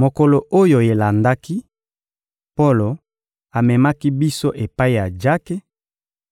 Mokolo oyo elandaki, Polo amemaki biso epai ya Jake,